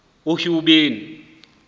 uhuben